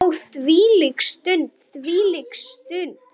Ó þvílík stund, þvílík stund.